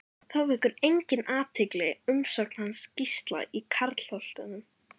Þá vekur einnig athygli umsögn hans um Gísla í Kjarnholtum.